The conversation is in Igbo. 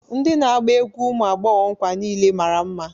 Ndị na-agba egwu ụmụ agbọghọ nkwa niile mara mma.